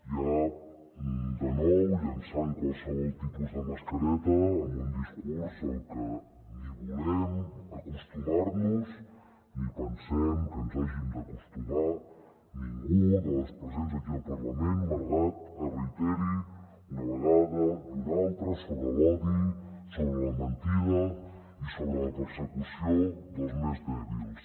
ja de nou llençant qualsevol tipus de mascareta amb un discurs al que ni volem acostumar nos ni pensem que ens hi hàgim d’acostumar ningú de les presents aquí al parlament malgrat que es reiteri una vegada i una altra sobre l’odi sobre la mentida i sobre la persecució dels més dèbils